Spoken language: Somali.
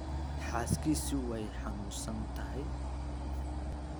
Xaaskiisu way xanuunsan tahay